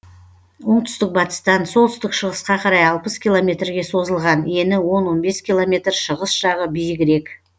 оңтүстік батыстан солтүстік шығысқа қарай алпыс километрге созылған ені он он бес километр шығыс жағы биігірек